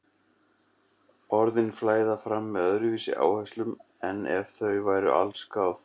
Orðin flæða fram með öðruvísi áherslum en ef þau væru allsgáð.